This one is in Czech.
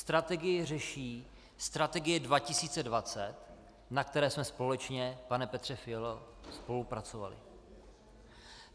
Strategii řeší Strategie 2020, na které jsme společně, pane Petře Fialo, spolupracovali.